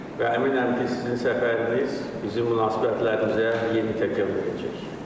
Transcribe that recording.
Və əminəm ki, sizin səfəriniz bizim münasibətlərimizə yeni təkan verəcək.